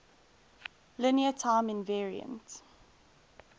linear time invariant